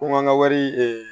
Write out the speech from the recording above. Ko an ka wari